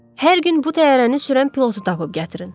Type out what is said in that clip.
Hər gün bu təyyarəni sürən pilotu tapıb gətirin.